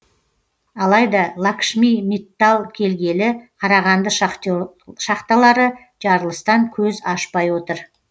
алайда лакшми миттал келгелі қарағанды шахталары жарылыстан көз ашпай отыр